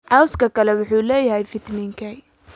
Cawska kale wuxuu leeyahay fitamiin K.